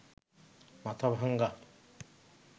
Mathabhanga